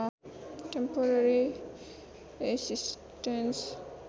temporary assistance